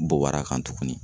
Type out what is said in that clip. Bɔbar'a kan tugunni